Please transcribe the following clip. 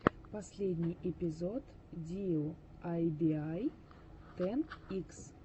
последний эпизод диуайбиай тэн икс